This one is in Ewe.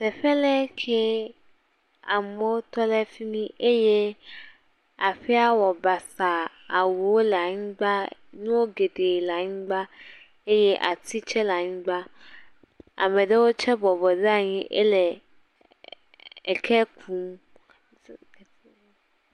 Tƒe aɖee kee. Amewo tɔ ɖe fi mi eye aƒea wɔ basa awuwo le anyigba. Nu geɖe le anyigba eye ati tse le anyigba. Ame aɖewo tse bɔbɔ ɖe abyi ele eke kum.